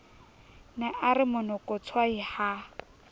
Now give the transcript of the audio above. ne a re monokotshwai ha